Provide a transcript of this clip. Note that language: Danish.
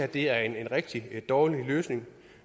det er en rigtig dårlig løsning